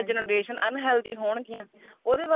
generation unhealthy ਹੋਣਗੀਆਂ ਉਹਦੇ ਵਾਸਤੇ